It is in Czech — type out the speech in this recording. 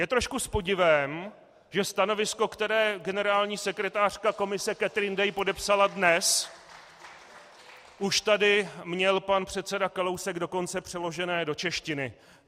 Je trošku s podivem, že stanovisko, které generální sekretářka Komise Catherine Day podepsala dnes, už tady měl pan předseda Kalousek dokonce přeložené do češtiny.